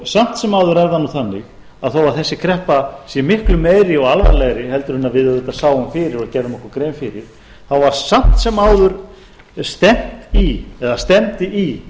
samt sem áður er það nú þannig að þó að þessi kreppa sé miklu meiri og alvarlegri en við auðvitað sáum fyrir og gerðum okkur grein fyrir þá var samt sem áður stefnt í eða stefndi í